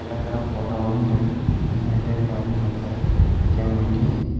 ಎಲ್ಲ ತರ ಫೋಟೋ ವನ್ನು ದೇಬ್ ನೀಟ್ ಆಗಿ ಮಾಡಿಕೊಡುತ್ತಾರೆ ಫ್ರೇಮ್ ಹಾಕಿ.